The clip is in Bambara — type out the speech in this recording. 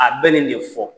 A bɛ nin de fɔ